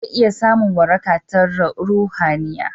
mutum zai iya samun waraka ta ruhaniya